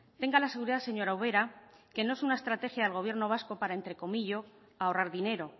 tenga la seguridad señora ubera que no es una estrategia del gobierno vasco para entrecomillo ahorrar dinero